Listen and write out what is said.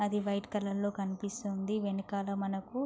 అది white colour లో కనిపిస్తుంది. వెనకాల మనకు --